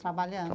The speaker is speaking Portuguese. Trabalhando?